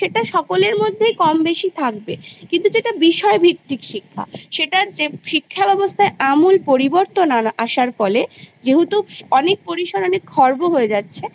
সেটা সকলের মধ্যেই কম বেশি থাকবে কিন্তু যেটা বিষয়ভিত্তিক শিক্ষা সেটার যে শিক্ষাব্যবস্থাযা আমূল পরিবর্তন আসার ফলে যেহেতু অনেক পরিসরে খর্ব হয়ে যাচ্ছে